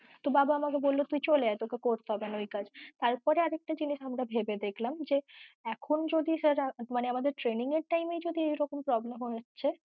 তো বাবা বলল তুই চলে আয়ে তোকে করতে হবে না ঐ কাজ তারপরে আর একটা জিনিস আমরা ভেবে দেখলাম যে এখন যদি sir মানে আমাদের training এর time এই যদি এরকম problem হচ্ছে